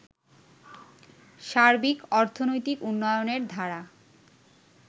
সার্বিক অর্থনৈতিক উন্নয়নের ধারা